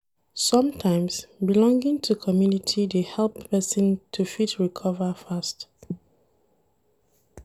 Sometimes, belonging to community dey help person to fit recover fast